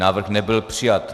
Návrh nebyl přijat.